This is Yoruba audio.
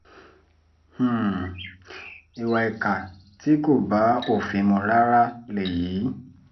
um ìwà ìkà tí kò bá òfin mu rárá lèyí